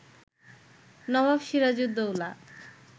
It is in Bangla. নবাব সিরাজউদ্দৌলা